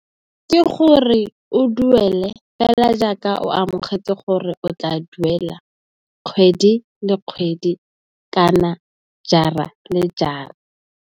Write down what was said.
Ke gore o duele fela jaaka o amogetse gore o tla duela kgwedi le kgwedi kana jara le jara.